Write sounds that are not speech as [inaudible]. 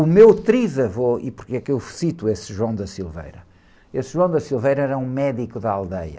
O meu trisavô, e porque é que eu cito esse, [unintelligible] esse [unintelligible] era um médico da aldeia.